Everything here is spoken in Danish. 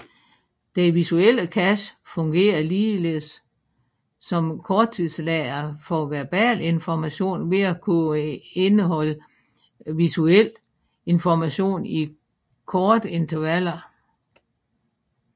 Den visuelle cache fungerer ligeledes som korttidslageret for verbal information ved at kunne indholde visuelt information i korte intervaller